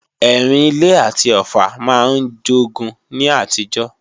Ẹrìn-ilé àti Ọ̀ffà máa ń jogun ní àtijọ́